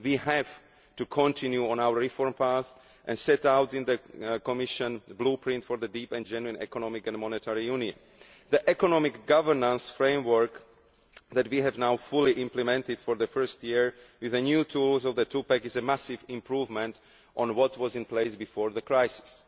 We have to continue on our reform path as set out in the Commission Blueprint for a Deep and Genuine Economic and Monetary Union. The economic governance framework that we have now fully implemented for the first year with the new tools of the two pack is a massive improvement on what was in place before the crisis.